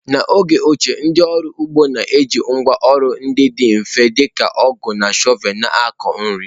N’oge ochie, ndị ọrụ ugbo na-eji ngwá ọrụ ndị dị mfe dị ka ọgụ na shọvel na-akọ nri.